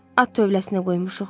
At tövləsinə qoymuşuq.